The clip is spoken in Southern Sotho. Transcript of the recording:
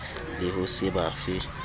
le ho se ba fe